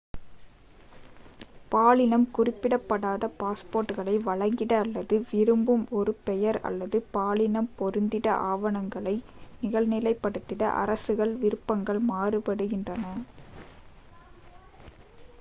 பாலினம் குறிப்பிடப்படாத x பாஸ்போர்ட்களை வழங்கிட அல்லது விரும்பும் ஒரு பெயர் அல்லது பாலினம் பொருந்திட ஆவணங்களை நிகழ்நிலைப்படுத்திட அரசுகளின் விருப்பங்கள் மாறுபடுகிறது